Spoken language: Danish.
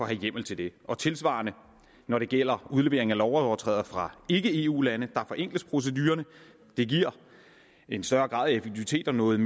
have hjemmel til det tilsvarende når det gælder udlevering af lovovertrædere fra ikke eu lande forenkles procedurerne det giver en større grad af effektivitet og noget